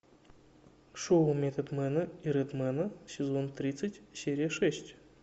шоу методмена и редмена сезон тридцать серия шесть